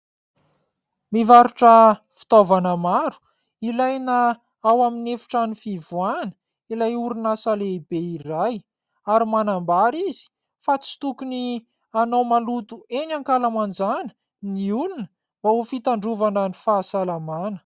Mivarotra fitaovana maro ilaina ao amin'ny efitrano fivoahana ilay orinasa lehibe iray, ary manambara izy fa tsy tokony anao maloto eny ankalamanjana ny olona mba ho fitandrovana ny fahasalamana.